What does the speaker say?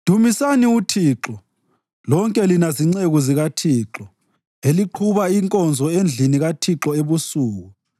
Dumisani uThixo, lonke lina zinceku zikaThixo eliqhuba inkonzo endlini kaThixo ebusuku.